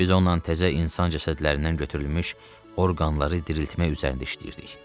Biz onunla təzə insan cəsədlərindən götürülmüş orqanları diriltmək üzərində işləyirdik.